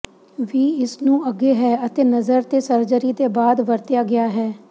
ਵੀ ਇਸ ਨੂੰ ਅੱਗੇ ਹੈ ਅਤੇ ਨਜ਼ਰ ਤੇ ਸਰਜਰੀ ਦੇ ਬਾਅਦ ਵਰਤਿਆ ਗਿਆ ਹੈ